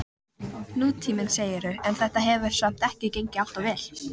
Nútíminn, segirðu, en þetta hefur samt ekki gengið alltof vel?